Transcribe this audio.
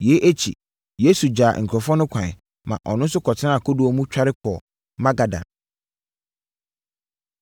Yei akyi, Yesu gyaa nkurɔfoɔ no kwan, ma ɔno nso kɔtenaa kodoɔ mu tware kɔɔ Magadan.